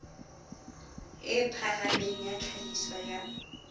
e phahameng ya tlhahiso ya